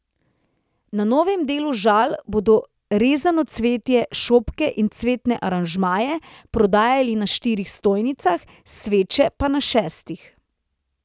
Na novem delu Žal bodo rezano cvetje, šopke in cvetne aranžmaje prodajali na štirih stojnicah, sveče pa na šestih.